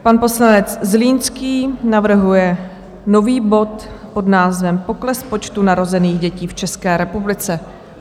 Pan poslanec Zlínský navrhuje nový bod pod názvem Pokles počtu narozených dětí v České republice.